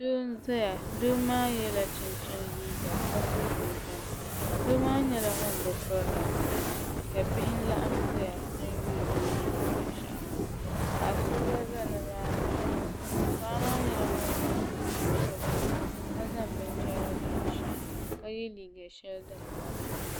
Doo n zaya doo maa yela chinchini liiga ka so jinjam doo maa nyɛla ŋuni bi piri namda ka bihi laɣim zaya n yuuni o ni niŋdi bini shaɣu maa paɣa so gba za paɣa so gba za ni maa ni paɣa maa nyɛla ŋuni so jinjam sabinli ka zaŋ bini chara n lo o shee ka ye liiga shɛli dini ka.